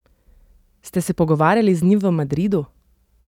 Ste se pogovarjali z njim v Madridu?